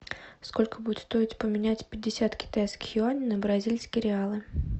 сколько будет стоить поменять пятьдесят китайских юаней на бразильские реалы